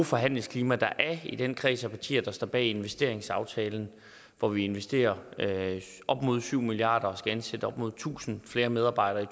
forhandlingsklima der er i den kreds af partier der står bag investeringsaftalen hvor vi investerer op mod syv milliard kroner og skal ansætte op mod tusind flere medarbejdere i